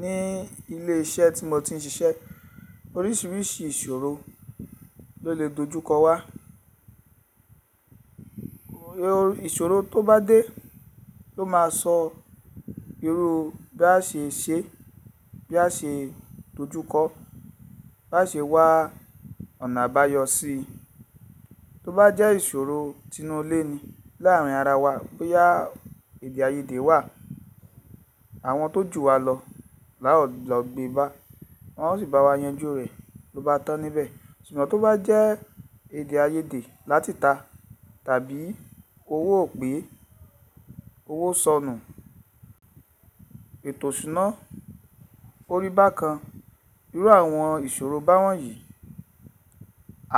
Ní ilé iṣẹ́ tí mo ti ń ṣiṣẹ́ oríṣiríṣi ìṣòro ló lè dojúkọ wá. Òro ìṣòro tó bá dé ló máa sọ irú bí a ṣe ṣe, bí a ṣe dojúkọ, bá ṣe wá ọ̀nà àbáyọ sí i. Tó bá jẹ́ ìṣòro tinú ilé ni láàrin ara wa bóyá èdè àìyedè wà, àwọn tó jù wá lọ lá ó lọ́ gbé bá, wọn ó sì bá wa yanjú rẹ̀ bó bá tán níbẹ̀. Ṣùgbọ́n tó bá jẹ́ èdè àìyedè láti ìta tàbí owó ò pé, owó sọnù, ètò ìṣúná, ò rí bákan, irú àwọn ìṣòro báwọn yìí,